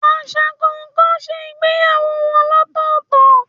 Aṣa kọọkan ṣe ìgbéyàwó wọn lọtọtọ